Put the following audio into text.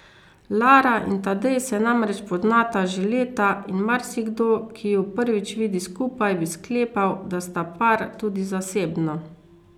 Lara in Tadej se namreč poznata že leta in marsikdo, ki ju prvič vidi skupaj, bi sklepal, da sta par tudi zasebno.